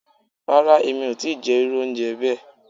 Ràrà, emi o ti jẹ iru ounjẹ bẹẹ